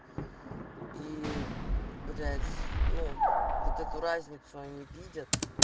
и блять ну вот эту разницу они видят